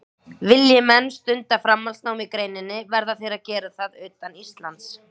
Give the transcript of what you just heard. Vilji menn stunda framhaldsnám í greininni verða þeir að gera það utan Íslands.